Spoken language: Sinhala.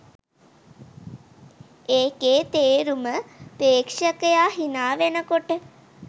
ඒකෙ තේරුම ප්‍රේක්ෂකයා හිනාවෙනකොට